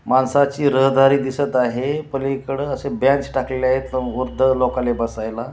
माणसाची रहदारी दिसत आहे पलीकडे असे बेंच टाकलेले आहेत वृद्ध लोकाले बसायला.